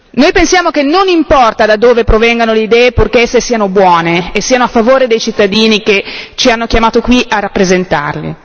Noi pensiamo che non importi da dove provengano le idee, purché esse siano buone e siano a favore dei cittadini che ci hanno chiamato qui a rappresentarvi.